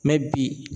bi